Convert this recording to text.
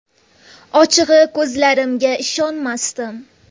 Ochig‘i, ko‘zlarimga ishonmasdim.